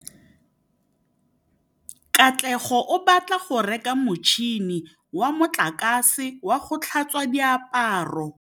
Katlego o batla go reka motšhine wa motlakase wa go tlhatswa diaparo.